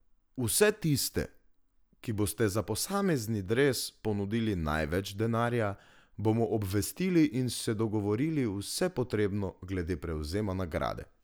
Vse tiste, ki boste za posamezni dres ponudili največ denarja, bomo obvestili in se dogovorili vse potrebno glede prevzema nagrade.